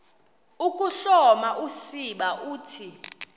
ukuhloma usiba uthi